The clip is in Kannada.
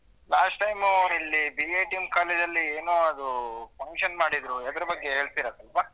Last time ಇಲ್ಲಿ BITM college ಅಲ್ಲಿ ಏನೋ ಅದು function ಮಾಡಿದ್ರೂ ಅದ್ರು ಬಗ್ಗೇ ಹೇಳ್ತಿರ ಸ್ವಲ್ಪ?